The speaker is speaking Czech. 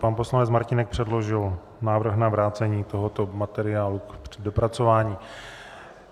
Pan poslanec Martínek předložil návrh na vrácení tohoto materiálu k dopracování.